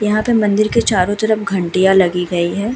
यहाँ पर मंदिर के चारों तरफ घंटियाँ लगी गई हैं।